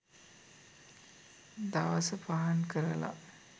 දවස පහන් කරලා